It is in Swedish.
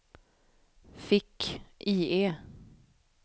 fick-IE